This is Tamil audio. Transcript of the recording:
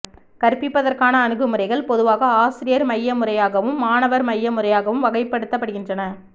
கற்பிப்பதற்கான அணுகுமுறைகள் பொதுவாக ஆசிரியர் மைய முறையாகவும் மாணவர் மைய முறையாகவும் வகைப்படுத்தப்படுகின்றன